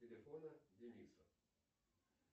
телефона дениса